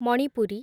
Manipuri